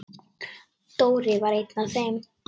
Dóri var einn af þeim.